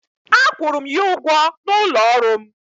A kwụrụ m ya ụgwọ n'ụlọ ọrụ m.